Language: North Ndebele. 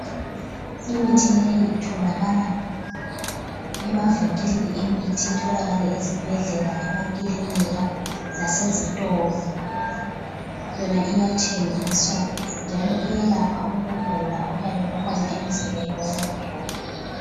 Imithi leyi itholakala emavinkilini emithi, itholakale ezibhedlela, emakilinika lasezitolo yona iyathengiswa njalo iyalapha ukugula okuyabe kukhona emzimbeni womuntu